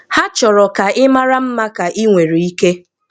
Ha chọrọ ka ị mara mma ka ị nwere ike.